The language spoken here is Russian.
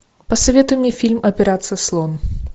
посоветуй мне фильм операция слон